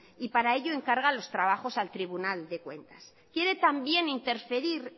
y para ello encarga los trabajos al tribunal de cuentas quiere también interferir